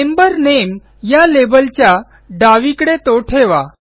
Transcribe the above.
member name या लेबलच्या डावीकडे तो ठेवा